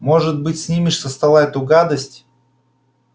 может быть снимешь со стола эту гадость